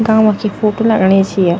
गांव क ही फोटु लगणी च या ।